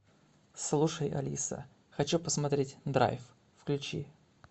слушай алиса хочу посмотреть драйв включи